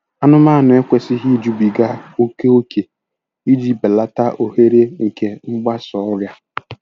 Anụmanụ ekwesịghị ijubiga oke ókè iji belata ohere nke mgbasa ọrịa.